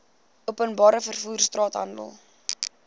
openbare vervoer straathandel